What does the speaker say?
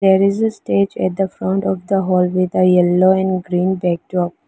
there is a stage at the front of hall with a yellow and green backdrop.